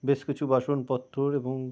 বেশ কিছু বাসন পত্তর এবং--